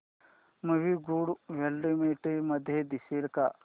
movie good quality मध्ये दिसेल का